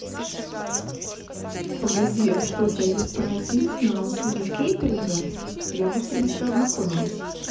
погоди а что у тебя есть прайс-лист на услуги кейтеринга я бы в принципе ознакомилась